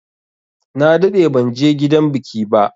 Na daɗe banje gidan biki ba.